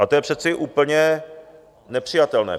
A to je přece úplně nepřijatelné.